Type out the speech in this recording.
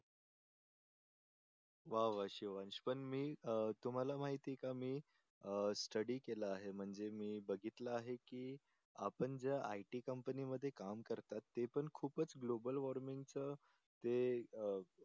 वा वा शिवांश पण मी अं तुम्हाला माहीत आहे का मी अं स्टडी केल आहे म्हणजे मी बघितल आहे की आपण ज्या IT कंपनीमध्ये काम करता ते पण खूपच गोबल वॉर्मिंगच जे अं